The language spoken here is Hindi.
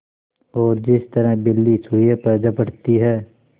और जिस तरह बिल्ली चूहे पर झपटती है